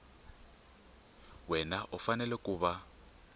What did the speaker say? wana u fanele ku va